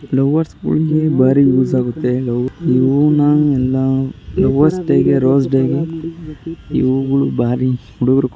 lovers ಗಳಿಗೆ ಬಾರಿ use ಆಗುತ್ತೆ ಲವ್ ಈ ಹೂನ ಎಲ್ಲ ಲವರ್ಸ್ ಡೇ ಗೆ ರೋಸ್ ಡೇ ಗೆ ಈ ಹೂಗುಳು ಬಾರಿ ಹುಡುಗುರು--